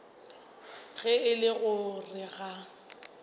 ge e le gore ga